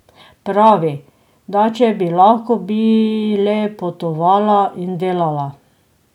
Pravi, da če bi lahko, bi le potovala in delala.